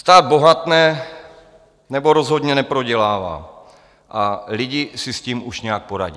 Stát bohatne nebo rozhodně neprodělává a lidé si s tím už nějak poradí.